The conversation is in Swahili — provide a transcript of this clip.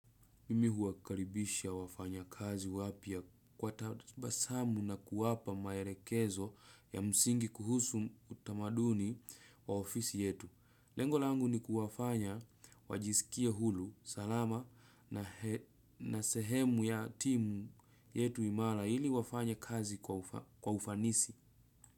Mimi huwakaribisha wafanya kazi wapya kwa tabasamu na kuwapa maerekezo ya msingi kuhusu utamaduni wa ofisi yetu. Lengo langu ni kuwafanya wajisikie hulu, salama na sehemu ya timu yetu imara, ili wafanye kazi kwa ufanisi.